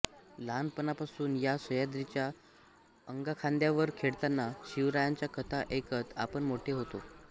लहानपणापासून या सह्याद्रीच्या अंगाखांद्यावर खेळताना शिवरायांच्या कथा ऐकत आपण मोठे होतो